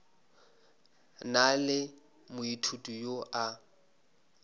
na le moithuti yo a